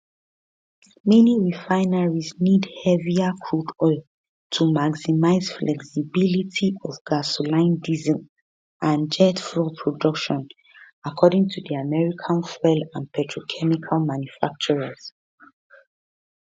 many refineries need heavier crude oil to maximize flexibility of gasoline diesel and jet fuel production according to di american fuel and petrochemical manufacturers